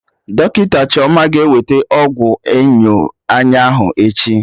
Dọkịta Chioma ga-eweta ọgwụ enyo anya ahụ echi